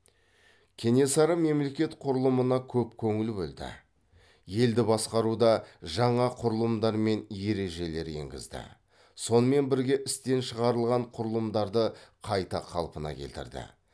кенесары мемлекет құрылымына көп көңіл бөлді елді басқаруда жаңа құрылымдар мен ережелер енгізді сонымен бірге істен шығарылған құрылымдарды қайта қалпына келтірді